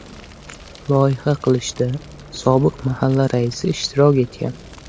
Loyiha qilishda sobiq mahalla raisi ishtirok etgan.